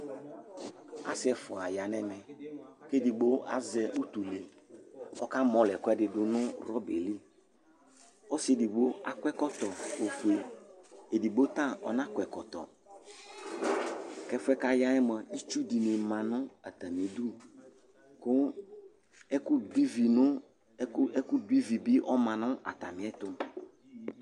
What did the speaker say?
Asɩ ɛfʋa ya nɛmɛ, kedigbo azɛ utule kʋ ɔka mɔlɔ ɛkʋdɩdʋ nʋ rɔba yɛ liƆsɩ edigbo akɔ ɛkɔtɔ, edigbo ta ɔnakɔ ɛkɔtɔƐfʋɛ kaya yɛ mʋa, itsu dɩnɩ ma nʋ atamɩ idu ,kʋ ɛkʋ dʋ ivi bɩ ɔma nʋ atamɩɛtʋ